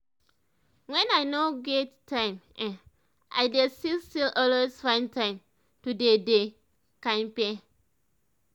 when i no get time[um]i dey still still always find time to dey dey kampe